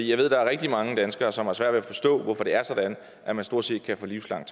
jeg ved at der er rigtig mange danskere som har svært ved at forstå det hvorfor det er sådan at man stort set kan få livslang